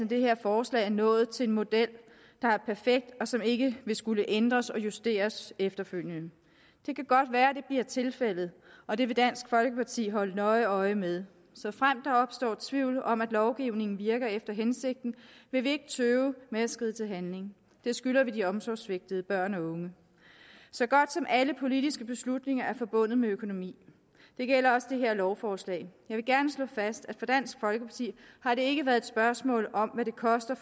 det her forslag er nået frem til en model der er perfekt og som ikke vil skulle ændres og justeres efterfølgende det kan godt være at det bliver tilfældet og det vil dansk folkeparti holde nøje øje med såfremt der opstår tvivl om at lovgivningen virker efter hensigten vil vi ikke tøve med at skride til handling det skylder vi de omsorgssvigtede børn og unge så godt som alle politiske beslutninger er forbundet med økonomi det gælder også det her lovforslag jeg vil gerne slå fast at for dansk folkeparti har det ikke været spørgsmål om hvad det koster